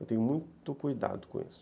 Eu tenho muito cuidado com isso.